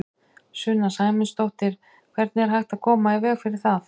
Sunna Sæmundsdóttir: Hvernig er hægt að koma í veg fyrir það?